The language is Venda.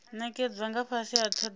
nekedzwa nga fhasi ha thodea